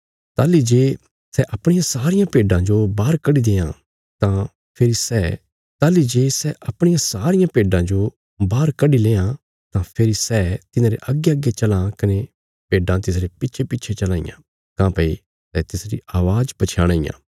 ताहली जे सै अपणियां सारियां भेड्डां जो बाहर कड्डी लेआं तां फेरी सै तिन्हांरे अग्गेअग्गे चलां कने भेड्डां तिसरे पिच्छेपिच्छे चलां इयां काँह्भई सै तिसरी अवाज़ पछयाणां इयां